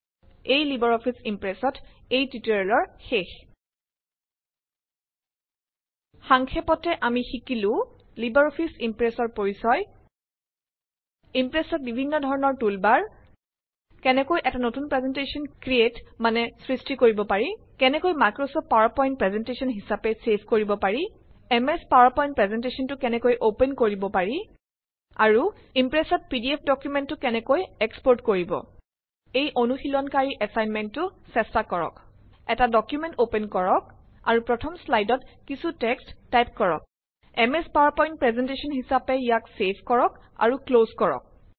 ইয়াতেই Libre Office ইম্প্ৰেচত এই টিউটৰিয়েলৰ শেষ। সাংক্ষেপতে আমি শিকিলো। লিবাৰ অফিচ ইম্প্ৰেচৰ পৰিচয়। ইম্প্ৰেচত বিভিন্ন ধৰণৰ টুলবাৰ। কেনেকৈ এটা নতুন প্ৰেজেন্টশ্যন ক্ৰিয়েট কৰিব পাৰি। কেনেকৈ মাইক্ৰচফট পাৱাৰ পইন্ট প্ৰেজেন্টশ্যন হিচাপে চেভ কৰিব পাৰি। এম এচ পাৱাৰ পইন্ট প্ৰেজেন্টশ্যনটো কেনেকৈ অপেন কৰিব পাৰি আৰু ইম্প্ৰেচত পিডিএফ ডকুমেন্টটো কেনেকৈ এক্সপৰ্ট কৰিব পাৰি এই অনুশীলনকাৰী এছাইনমেণ্ট টো চেষ্টা কৰক। এটা ডকুমেন্ট অপেন কৰক আৰু প্ৰথম শ্লাইডত কিছু টেক্সত টাইপ কৰক। M S PowerPoint document হিচাপে অপেন কৰক আৰু ক্লজ কৰক